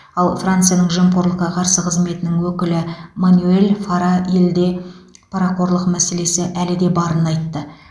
ал францияның жемқорлыққа қарсы қызметінің өкілі манюэль фара елде парақорлық мәселесі әлі де барын айтты